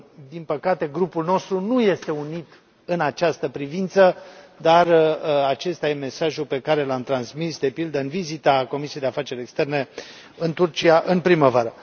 Din păcate, grupul nostru nu este unit în această privință, dar acesta e mesajul pe care l am transmis, de pildă în vizita Comisiei pentru afaceri externe în Turcia, în primăvară.